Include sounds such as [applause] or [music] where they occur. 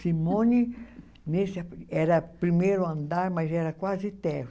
Simone [unintelligible] era primeiro andar, mas era quase. [unintelligible]